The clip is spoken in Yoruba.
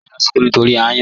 Àyọ̀ n sunkùn nítorí ayàn.